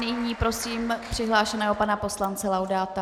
Nyní prosím přihlášeného pana poslance Laudáta.